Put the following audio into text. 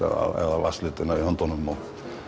eða vatnsliti í höndunum og